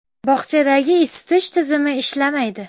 Bog‘chadagi isitish tizimi ishlamaydi.